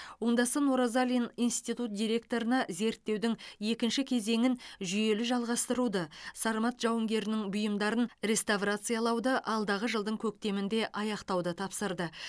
оңдасын оразалин институт директорына зерттеудің екінші кезеңін жүйелі жалғастыруды сармат жауынгерінің бұйымдарын реставрациялауды алдағы жылдың көктемінде аяқтауды тапсырды